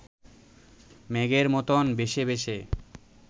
মেঘের মতন ভেসে ভেসে